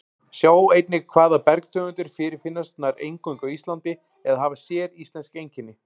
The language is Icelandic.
Sjá einnig Hvaða bergtegundir fyrirfinnast nær eingöngu á Íslandi eða hafa séríslensk einkenni?